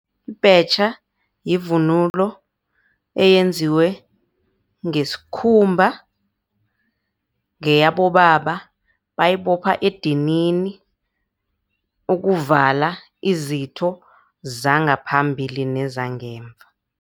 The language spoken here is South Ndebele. Ibhetjha yivunulo eyenziwe ngesikhumba, ngeyabobaba bayibopha edinini ukuvala izitho zangaphambili nezangemva.